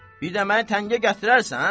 Bir də məni təngə gətirərsən?